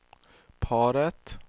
paret